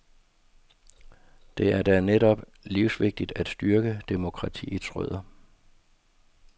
Det er da netop livsvigtigt at styrke demokratiets rødder.